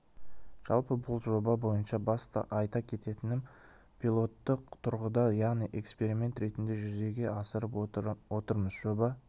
жалпы бұл жоба бойынша басты айта кететінім пилотты тұрғыда яғни эсперимент ретінде жүзеге асырып отырмыз жоба